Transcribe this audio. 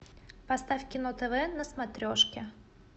поставь кино тв на смотрешке